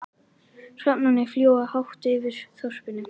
Hrafnarnir fljúga hátt yfir þorpinu.